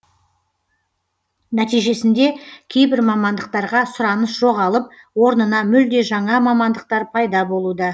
нәтижесінде кейбір мамандықтарға сұраныс жоғалып орнына мүлде жаңа мамандықтар пайда болуда